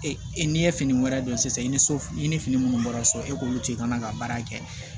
Ee n'i ye fini wɛrɛ don sisan i ni so i ni fini minnu bɔra so e b'olu to yen i kana na baara kɛ